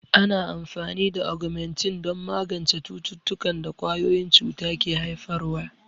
Ana amfani da Ogmentin don magance cututtukan da ƙwayoyin cuta ke haifarwa.